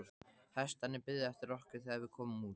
Hestarnir biðu eftir okkur þegar við komum út.